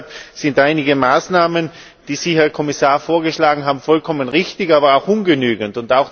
Deshalb sind einige Maßnahmen, die Sie, Herr Kommissar, vorgeschlagen haben, vollkommen richtig, aber auch ungenügend.